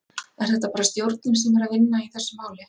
Er þetta bara stjórnin sem er að vinna í þessu máli?